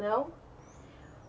Não.